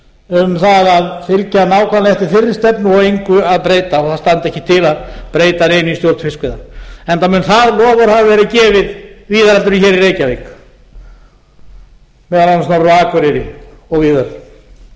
um það að fylgja nákvæmlega eftir þeirri stefnu og engu að breyta og það standi ekki til að breyta neinu í stjórn fiskveiða enda mun það loforð hafa verið gefið víðar en hér í reykjavík meðal annars norður á akureyri og víðar